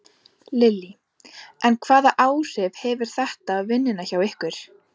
Lillý: En hvaða áhrif hefur þetta á vinnuna hjá ykkur?